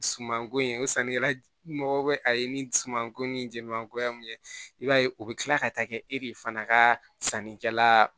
Sumanko ye o sannikɛla mɔgɔ bɛ a ye ni sumanko ni jɛmanko ye mun ye i b'a ye o bɛ kila ka taa kɛ e de fana ka sannikɛla